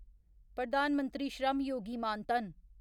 Pradhan Mantri Shram Yogi Maan Dhan